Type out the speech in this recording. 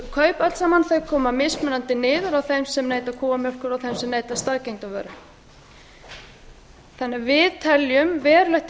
mjólkurkaupin öll saman koma mjög mismunandi niður á þeim sem neyta kúamjólkur og þeim sem neyta staðgengdarvara þannig að við teljum verulegt